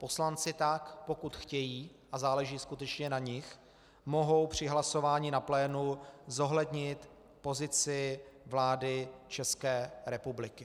Poslanci tak, pokud chtějí, a záleží skutečně na nich, mohou při hlasování na plénu zohlednit pozici vlády České republiky.